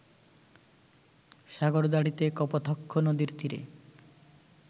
সাগরদাঁড়িতে কপোতাক্ষ নদের তীরে